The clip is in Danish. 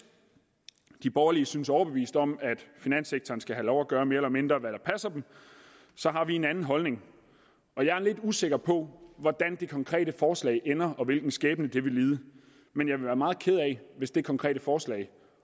de borgerlige synes overbevist om at finanssektoren skal have lov at gøre mere eller mindre hvad der passer den så har vi en anden holdning jeg er lidt usikker på hvordan det konkrete forslag ender og hvilken skæbne det vil lide men jeg vil være meget ked af hvis det konkrete forslag